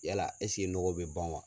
Yala ɛsike nɔgɔ be ban wa